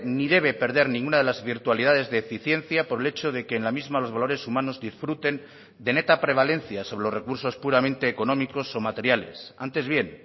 ni debe perder ninguna de las virtualidades de eficiencia por el hecho de que en la misma los valores humanos disfruten de neta prevalencia sobre los recursos puramente económicos o materiales antes bien